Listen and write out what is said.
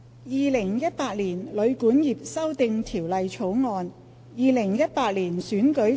《2018年旅館業條例草案》《2018年選舉法例條例草案》。